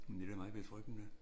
Men det da meget betryggende